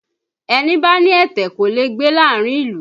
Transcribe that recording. Ẹni bá ní ẹ̀tẹ̀ kò lè gbé láàárín ìlú